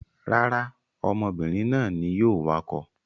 Rárá, ọmọbìnrin náà ni yóò wakọ̀.